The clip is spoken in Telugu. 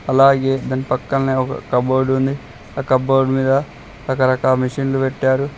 అలాగే దాని పక్కనే ఒక కప్బోర్డ్ ఉంది ఆ కబోర్డు మీద రకరకాల మిషన్స్ పెట్టారు.